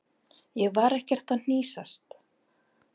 Ég var ekkert að hnýsast.